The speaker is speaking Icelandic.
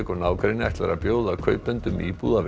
nágrenni ætlar að bjóða kaupendum íbúða við